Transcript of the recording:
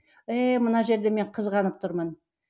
еее мына жерде мен қызғанып тұрмын